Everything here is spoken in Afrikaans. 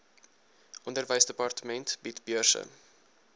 onderwysdepartement bied beurse